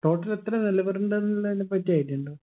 total എത്ര നിലവറ ഉണ്ടെന്നുള്ളതിനെ പറ്റി idea ഉണ്ടോ